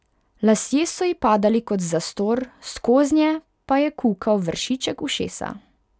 Lasje so ji padali kot zastor, skoznje pa je kukal vršiček ušesa.